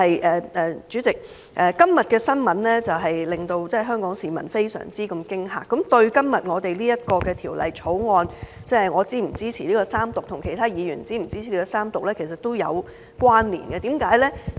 另外，主席，今天的新聞令香港市民非常震驚，亦與今天我們討論的《條例草案》，我和其他議員是否支持三讀，都有關連，為甚麼？